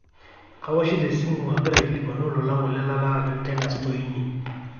kawoshito esimu agira aikilikuanu olola ngole latalaa teina store inyi